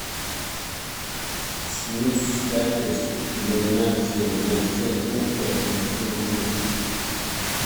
снизь яркость иллюминации на семь пунктов на семь минут